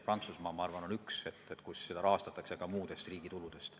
Prantsusmaa on minu arvates üks riik, kus seda rahastatakse ka riigituludest.